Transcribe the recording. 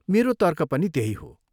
मेरो तर्क पनि त्यही हो।